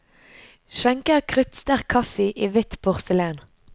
Skjenker kruttsterk kaffe i hvitt porselen.